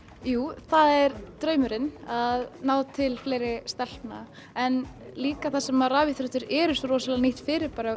jú það er draumurinn að ná til fleiri stelpna en líka þar sem að rafíþróttir eru svo rosalega nýtt fyrirbæri